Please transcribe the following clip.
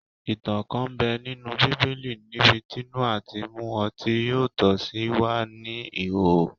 Ìtàn kan n bẹ ninú bíbélì níbití Nóhà tí mu ọtí yọ́ tó sì wà ní ìhòòhò